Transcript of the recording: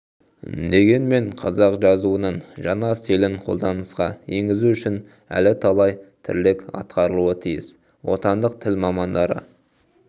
дегенмен қазақ жазуының жаңа стилін қолданысқа енгізу үшін әлі талай тірлік атқарылуы тиіс отандық тіл мамандары